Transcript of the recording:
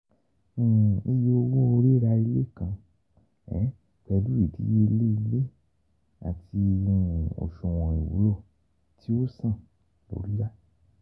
Iye owo rira ile kan pẹlu idiyele ile ati oṣuwọn iwulo ti o san lori yá.